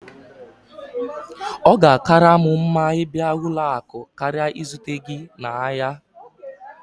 Ọ ga-akara m mma ịbịa ụlọ akụ karịa izute gị n'ahịa